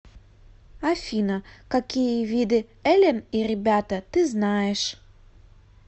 афина какие виды элен и ребята ты знаешь